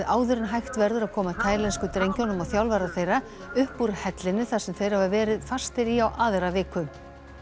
áður en hægt verður að koma taílensku drengjunum og þjálfara þeirra upp úr hellinum þar sem þeir hafa verið fastir í á aðra viku